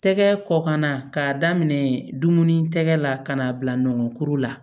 Tɛgɛ kɔkana k'a daminɛ dumuni tɛgɛ la ka n'a bila nɔnɔkuru la